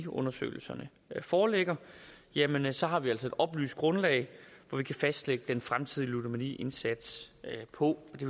undersøgelserne foreligger jamen så har vi altså et oplyst grundlag at fastlægge den fremtidige ludomaniindsats på og det